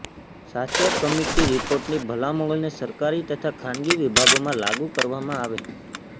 Sachar committee રીપોર્ટની ભલામણોને સરકારી તથા ખાનગી વિભાગોમાં લાગુ કરવામાં આવે